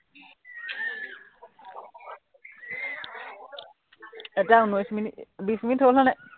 এতিয়া উনৈশ মিনিট, বিশ মিনিট হল মানে